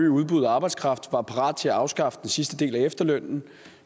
øge udbuddet af arbejdskraft var parat til at afskaffe den sidste del af efterlønnen